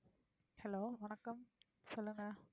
hello வணக்கம். சொல்லுங்க.